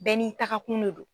Bɛɛ n'i takakun ne do.